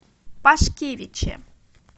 пашкевиче